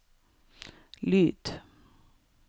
lyd